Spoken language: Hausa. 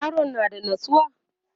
yaron ya na da natsuwa?